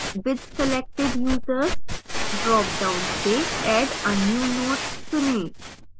with selected users dropdown से add a new note चुनें